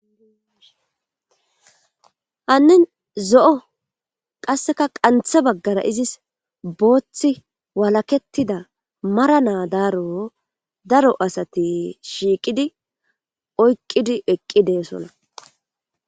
Hanin zo'o qaseka qanthe bagara izis booth walaketida mara na daaro daro asat shiqid oyqid eqi de'osona.